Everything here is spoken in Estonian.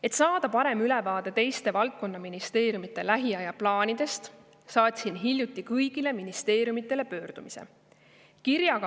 " Et saada parem ülevaade teiste valdkonnaministeeriumide lähiaja plaanidest, pöördusin hiljuti kõigi ministeeriumide poole.